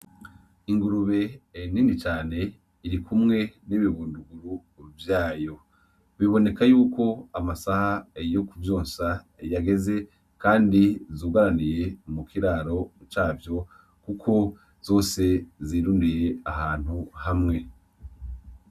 Ingurube nini cane iri kumwe n'ibibunduguru vyayo biboneka yuko amasaha yo kuvyonsa yageze kandi zugaraniye mukiraro cavyo kuko zose zirundiye ahantu hamwe